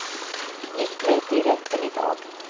Nytt möte i rätten i dag.